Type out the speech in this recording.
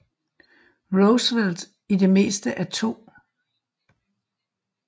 Roosevelt i det meste af 2